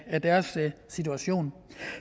af deres situation